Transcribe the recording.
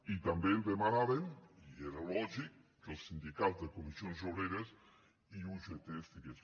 i també demanàvem i era lògic que els sindicats comissions obreres i ugt hi fossin